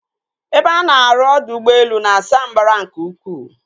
Ebe a na-arụ ọdọ ụgbọelu na-asa mbara nke ukwuu.